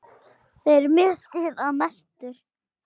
Þeirra missir er mestur.